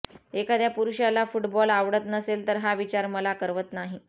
एखाद्या पुरुषाला फुटबॉल आवडत नसेल तर हा विचार मला करवत नाही